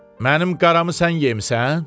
Mənim qaramı sən yemisən?